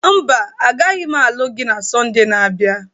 Mba, agaghị m alụ gị na Sọnde na-abịa.